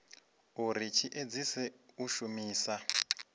uri tshi edzise u shumisa